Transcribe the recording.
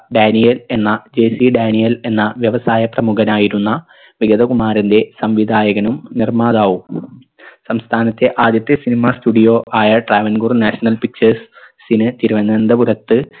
Daniel എന്ന JC Daniel എന്ന വ്യവസായ പ്രമുഖനായിരുന്ന വികതകുമാരൻറെ സംവിധായകനും നിർമ്മാതാവും സംസ്ഥാനത്തെ ആദ്യത്തെ cinema studio ആയ Travancore national pictures ന് തിരുവനന്തപുരത്ത്